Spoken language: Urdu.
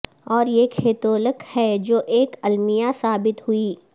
اور یہ کیتھولک ہے جو ایک المیہ ثابت ہوئی